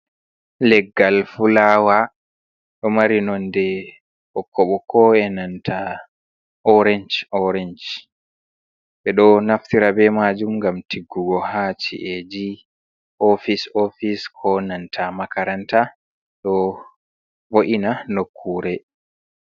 Leggal fulawa ɗo mari nonde ɓokko ɓokko enanta oransh oransh, ɓe ɗo naftira be majum gam tiggugo ha ci’eji, ofis ofise, ko nanta makaranta, ɗo vo’ina nokkure.